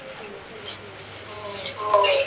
हो